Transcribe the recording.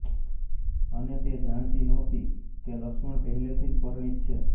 અને તે જાણતી નહોતી કે લક્ષ્મણ પહેલેથી જ પરિણીત છે